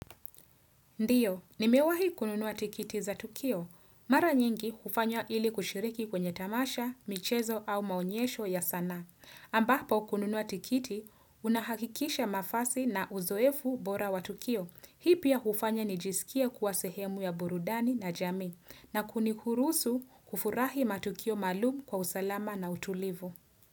Ndiyo, nimewahi kununua tikiti za Tukio. Mara nyingi hufanya ili kushiriki kwenye tamasha, michezo au maonyesho ya sana. Ambapo kununua tikiti, unahakikisha mafasi na uzoefu bora wa Tukio. Hii pia hufanya nijisikia kuwa sehemu ya burudani na jamii na kuniruhusu kufurahi matukio maalumu kwa usalama na utulivu.